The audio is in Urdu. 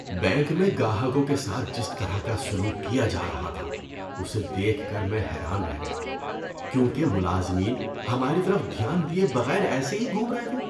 بینک میں گاہکوں کے ساتھ جس طرح کا سلوک کیا جا رہا تھا اس دیکھ کر میں حیران رہ گیا کیونکہ ملازمین ہماری طرف دھیان دیے بغیر ایسے ہی گھوم رہے تھے۔